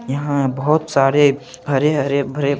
यहाँ बहुत सारे हरे हरे भरे--